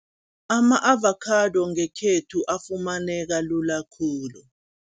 Ama-avakhado ngekhethu efumaneka lula khulu.